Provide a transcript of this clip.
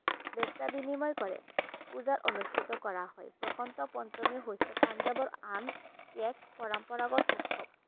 বৈছা বিনিময় কৰে পূজাৰ অনুষ্ঠিত কৰা হয় বসন্ত পঞ্চমী হৈছে পাঞ্জাবৰ আন এক পৰম্পৰাগত উৎসৱ